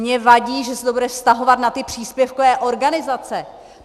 Mně vadí, že se to bude vztahovat na ty příspěvkové organizace.